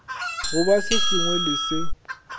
goba se sengwe le se